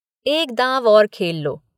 एक दॉव और खेल लो।